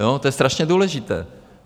Jo, to je strašně důležité.